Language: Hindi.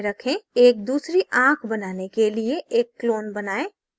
एक दूसरी आंख बनाने के लिए एक clone बनाएँ